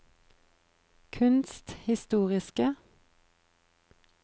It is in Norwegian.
kunsthistoriske